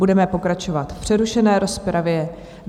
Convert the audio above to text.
Budeme pokračovat v přerušené rozpravě.